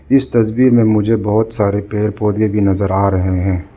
इस तस्वीर में मुझे बहुत सारे पेड़ पौधे भी नजर आ रहे हैं।